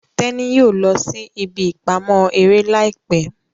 Teni yóò lọ sí ìbí ìpamọ́ eré láìpé.